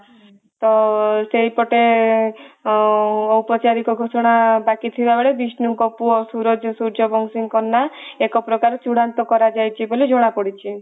ତ ସେଇ ପଟେ ଉପଚରିତ ଘଟଣା ବାକି ଥିଲା ବେଳେ ବିଷ୍ଣୁ ଙ୍କ ପୁଅ ସୁରଜ ସୂର୍ଯ୍ୟବଂଶୀଙ୍କ ନା ଏକ ପ୍ରକାର ଚୁଡାନ୍ତ କର ଯାଇଛି ବୋଲି ଜଣା ପଡିଛି